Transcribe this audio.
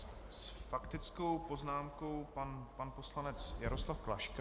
S faktickou poznámkou pan poslanec Jaroslav Klaška.